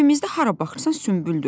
Evimizdə hara baxırsan sümbüldür.